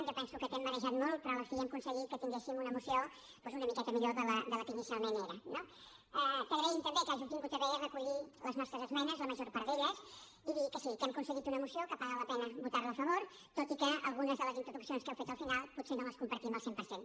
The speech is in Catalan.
jo penso que t’hem marejat molt però a la fi hem aconseguit que tinguéssim una moció doncs una miqueta millor de la que inicialment era no t’agraïm també que hàgiu tingut a bé recollir les nostres esmenes la major part d’elles i dir que sí que hem aconseguit una moció que paga la pena votar la a favor tot i que algunes de les introduccions que heu fet al final potser no les compartim al cent per cent